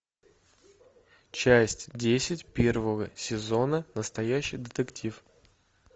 часть десять первого сезона настоящий детектив